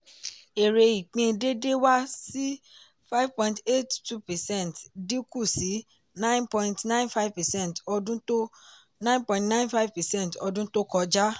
èrè ìpín déédé wá sí 5.82 percent dín kù sí 9.95 percent ọdún to 9.95 percent ọdún to kọjá.